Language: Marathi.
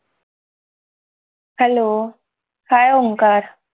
hello hi Omkar